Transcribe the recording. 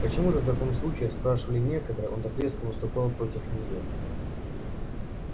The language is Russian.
почему же в таком случае спрашивали некоторые он так резко выступал против неё